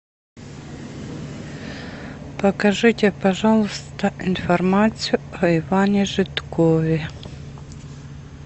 покажите пожалуйста информацию о иване жидкове